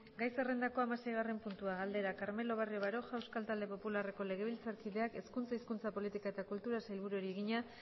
gai zerrendako hamaseigarren puntua galdera carmelo barrio baroja euskal talde popularreko legebiltzarkideak hezkuntza hizkuntza politika eta kulturako sailburuari egina